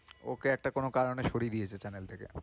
ওকে একটা কোনো কারণে সরিয়ে দিয়েছে channel থেকে।